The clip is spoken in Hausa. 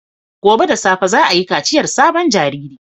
Gobe ​​da safe za a yi kaciyar sabon jariri